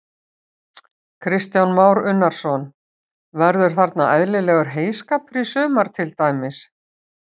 Kristján Már Unnarsson: Verður þarna eðlilegur heyskapur í sumar til dæmis?